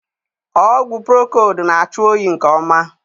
Ọgwụ prokold na achị oyi nke ọma